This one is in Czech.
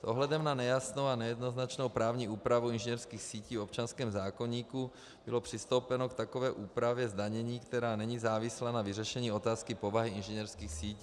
S ohledem na nejasnou a nejednoznačnou právní úpravu inženýrských sítí v občanském zákoníku bylo přistoupeno k takové úpravě zdanění, která není závislá na vyřešení otázky povahy inženýrských sítí.